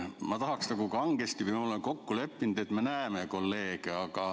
Ma tahaks kangesti, et oleks nii, nagu me oleme kokku leppinud, et me näeme kolleege.